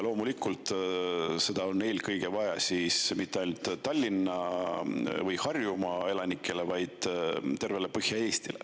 Loomulikult pole seda vaja mitte ainult Tallinna või Harjumaa elanikele, vaid tervele Põhja-Eestile.